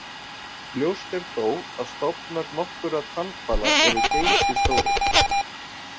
Ljóst er þó að stofnar nokkurra tannhvala eru geysistórir.